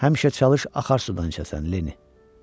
Həmişə çalış axar sudan içəsən, Lenni.